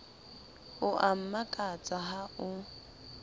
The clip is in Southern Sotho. o a mmakatsa ha o